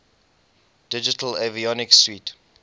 digital avionics suite